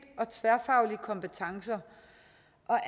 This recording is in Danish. og tværfaglige kompetencer